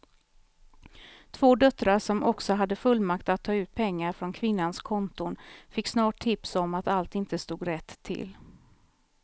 Två döttrar som också hade fullmakt att ta ut pengar från kvinnans konton fick snart tips om att allt inte stod rätt till.